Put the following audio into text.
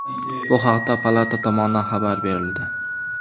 Bu haqda palata tomonidan xabar berildi .